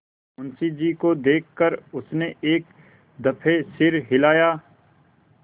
मुंशी जी को देख कर उसने एक दफे सिर हिलाया